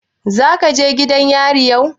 Zaka je gidan yarin yau?